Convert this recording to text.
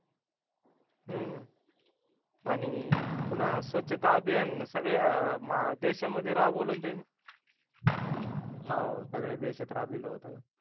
हूं आणि पुन्हा स्वच्छता अभियान सगळ्या देशामध्ये राबवलचय हो सगळ्या देशात राबिवल होतं